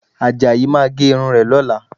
Àjàyí máa gé irun rẹ̀ lọ́la